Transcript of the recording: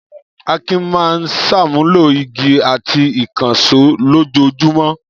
Akin máa ń ṣàmúlò igi àti ìkànṣó lójoojúmọ́.